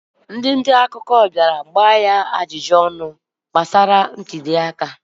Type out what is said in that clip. Ndị nta akụkọ bịara jụọ ya ajụjụ gbasara ntụli aka